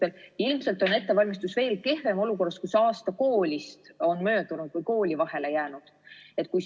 Aga ilmselt on ettevalmistus veelgi kehvem, kui aasta koolist on möödunud.